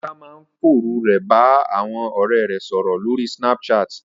Ọlá máa ń fòru rẹ̀ bá àwọn ọ̀rẹ́ rẹ̀ sọ̀rọ̀ lórí Snapchat